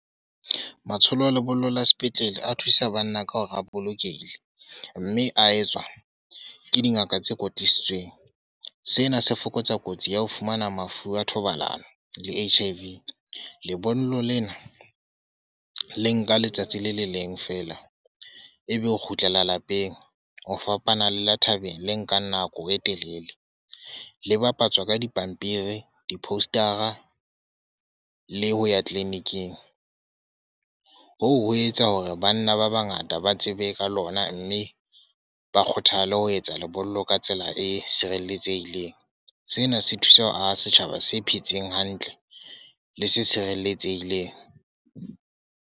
Matsholo a lebollo la sepetlele, a thusa banna ka hore a bolokehile. Mme a etswa ke dingaka tse kwetlisitsweng. Sena se fokotsa kotsi ya ho fumana mafu a thobalano, le H_I_V. Lebollo lena le nka letsatsi le le leng fela, e be o kgutlela lapeng. O fapana le la thabeng le nkang nako e telele. Le bapatswa ka dipampiri di-poster-a le ho ya clinic-ing. Hoo ho etsa hore banna ba bangata ba tsebe ka lona mme ba kgothale ho etsa lebollo ka tsela e sireletsehileng. Sena se thusa setjhaba se phetseng hantle le se sireletsehileng.